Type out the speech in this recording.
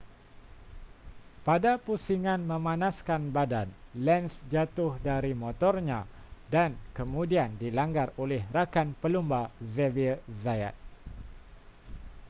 pada pusingan memanaskan badan lenz jatuh dari motornya dan kemudian dilanggar oleh rakan pelumba xavier zayat